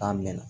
K'a mɛn